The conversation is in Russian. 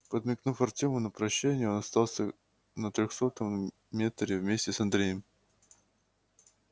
подмигнув артёму на прощание он остался на трёхсотом метре вместе с андреем